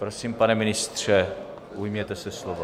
Prosím, pane ministře, ujměte se slova.